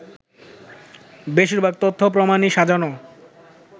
“বেশিরভাগ তথ্য-প্রমাণই সাজানো